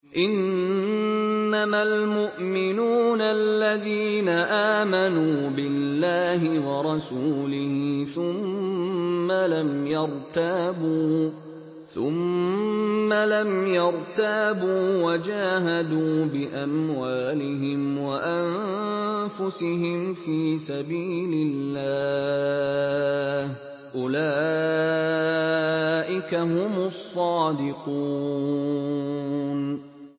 إِنَّمَا الْمُؤْمِنُونَ الَّذِينَ آمَنُوا بِاللَّهِ وَرَسُولِهِ ثُمَّ لَمْ يَرْتَابُوا وَجَاهَدُوا بِأَمْوَالِهِمْ وَأَنفُسِهِمْ فِي سَبِيلِ اللَّهِ ۚ أُولَٰئِكَ هُمُ الصَّادِقُونَ